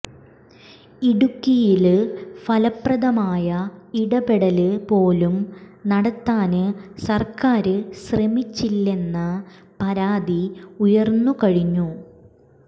ഇടുക്കിയില് ഫലപ്രദമായ ഇടപെടല് പോലും നടത്താന് സര്ക്കാര് ശ്രമിച്ചില്ലെന്ന പരാതി ഉയര്ന്നു കഴിഞ്ഞു